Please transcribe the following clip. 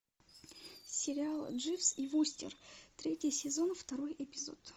сериал дживс и вустер третий сезон второй эпизод